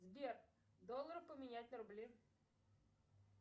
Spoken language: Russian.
сбер доллары поменять на рубли